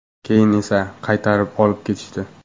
Keyin esa qaytarib olib ketishdi.